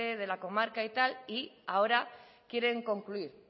de la comarca y tal y ahora quieren concluir